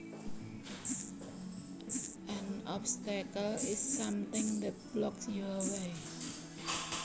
An obstacle is something that blocks your way